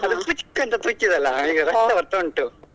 ಅದು ಪುಚ್ಕ್ ಅಂತ ತುಚ್ಚಿ ದ್ದಲ್ಲ ಈಗ ರಕ್ತ ಬರ್ತಾ ಉಂಟು.